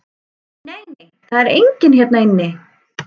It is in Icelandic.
Nei, nei, það er enginn hérna inni.